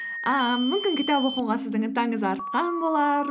ыыы мүмкін кітап оқуға сіздің ынтаңыз артқан болар